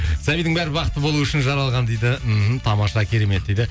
сәбидің бәрі бақытты болу үшін жаралған дейді мхм тамаша керемет дейді